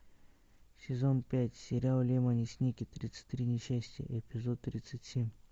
сезон пять сериал лемони сникет тридцать три несчастья эпизод тридцать семь